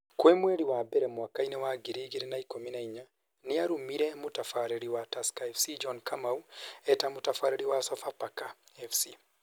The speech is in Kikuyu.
Kwi mweri wa mbere, mwaka-inĩ wa ngiri igĩrĩ na ikumi na inya, nĩarumire mũtabarĩri wa Tusker FC John Kamu eta mũtabarĩri wa Sofapaka FC